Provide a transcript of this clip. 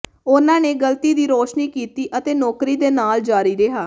ਉਹਨਾਂ ਨੇ ਗ਼ਲਤੀ ਦੀ ਰੋਸ਼ਨੀ ਕੀਤੀ ਅਤੇ ਨੌਕਰੀ ਦੇ ਨਾਲ ਜਾਰੀ ਰਿਹਾ